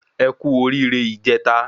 Ẹkú oríre ìjèta